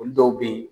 Olu dɔw be yen